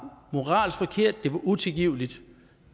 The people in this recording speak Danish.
moralsk forkert at det var utilgiveligt